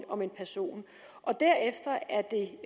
om en person derefter er det